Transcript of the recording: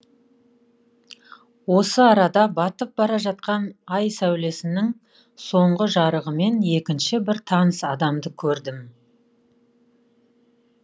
осы арада батып бара жатқан ай сәулесінің соңғы жарығымен екінші бір таныс адамды көрдім